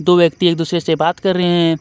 दो व्यक्ति एक दूसरे से बात कर रहे हैं.